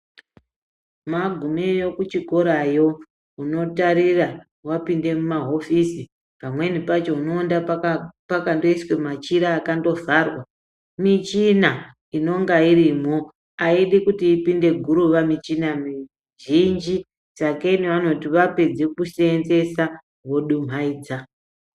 Magumeyo kuchikora yo unotarira magume kumahofisi pamweni pacho mundoonda pakandoiswa machira akandovharwa michina inenga irimo aidi kuti ipinde guruva michina mizhinji sakenyi vanoti vapedze kuseenzesa voduhumaidza.